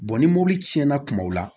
ni mɔbili tiɲɛna kumaw la